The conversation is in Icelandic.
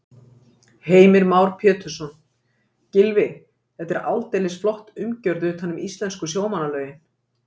Heimir Már Pétursson: Gylfi, þetta er aldeilis flott umgjörð utan um íslensku sjómannalögin?